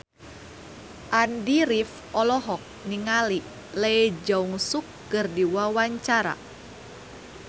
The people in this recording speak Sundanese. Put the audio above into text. Andy rif olohok ningali Lee Jeong Suk keur diwawancara